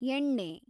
ಎಣ್ಣೆ